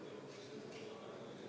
Tänan!